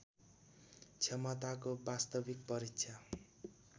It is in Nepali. क्षमताको वास्तविक परीक्षा